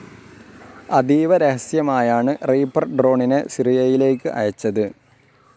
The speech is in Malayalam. അതീവ രഹസ്യമായാണ് റിപ്പർ ഡ്രോണിനെ സിറിയയിലേക്ക് അയച്ചത്.